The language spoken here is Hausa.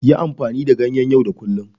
Yi amfani da ganyen yau da kullun.